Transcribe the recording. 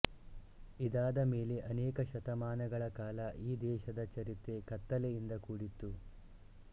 ಇದಾದಮೇಲೆ ಅನೇಕ ಶತಮಾನಗಳ ಕಾಲ ಈ ದೇಶದ ಚರಿತ್ರೆ ಕತ್ತಲೆಯಿಂದ ಕೂಡಿತ್ತು